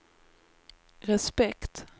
respekt